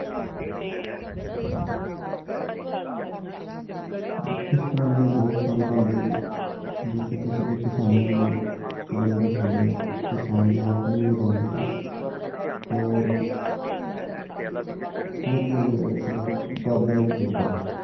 ਇਸ ਤਰ੍ਹਾਂ ਦੇ ਬਹੁਤ ਸਾਰੇ ਧੰਦੇ ਆ ਜੀ ਜੋ ਸਿੱਧੇ ਸਿੱਧੇ ਕਿਸਾਨੀ ਨਾਲ ਸੰਬੰਧਤ ਹੈਗੇ ਆ ਕਿਸਾਨ ਦੀ ਆਮਦਨ ਵੀ ਵਧਾਉਂਦੇ ਹੈ ਔਰ ਵਧੀਆ ਜੋ ਹੈ ਉਸਦਾ ਉਤਪਾਦਨ ਵੀ ਮਿਲਦਾ ਹੈ